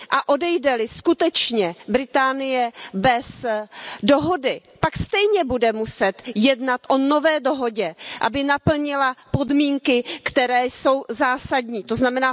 A odejde li Británie skutečně bez dohody, pak stejně bude muset jednat o nové dohodě, aby naplnila podmínky, které jsou zásadní, tzn.